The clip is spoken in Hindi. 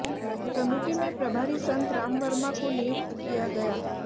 कमेटी में प्रभारी संत राम वर्मा को नियुक्त किया गया